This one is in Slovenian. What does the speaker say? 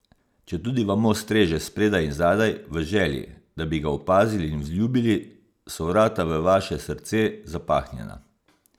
Četudi vam mož streže spredaj in zadaj v želji, da bi ga opazili in vzljubili, so vrata v vaše srce zapahnjena.